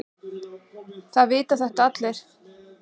Það vita þetta allir.